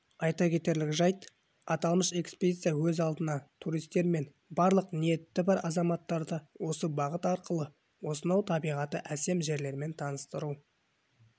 айта кетерлік жайт аталмыш экспедиция өз алдына туристер мен барлық ниеті бар азаматтарды осы бағыт арқылы осынау табиғаты әсем жерлермен таныстыру